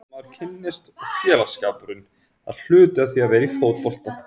Fólkið sem maður kynnist og félagsskapurinn, það er hluti af því að vera í fótbolta.